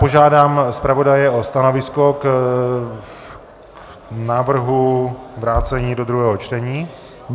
Požádám zpravodaje o stanovisko k návrhu vrácení do druhého čtení.